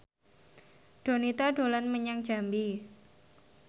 Donita dolan menyang Jambi